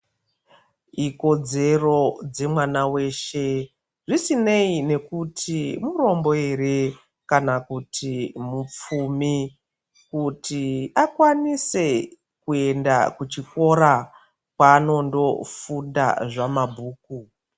Ikodzero dzemwana yeshe zvisinei nekuti murombo ere kana kuti mupfumi. Kuti akwanise kuenda kuchikora kwanondofunda zvamabhuku.